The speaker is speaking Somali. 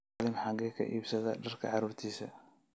Salim xagee ka iibsadaa dharka caruurtiisa?